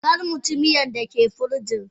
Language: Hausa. Karmuci miyan dake firijin.